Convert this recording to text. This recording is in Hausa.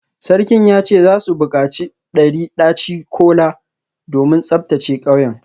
Sarkin ya ce za su bukaci dari daci-kola domin tsaftace kauyen